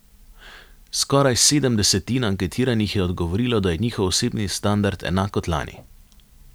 Skoraj sedem desetin anketiranih je odgovorilo, da je njihov osebni standard enak kot lani.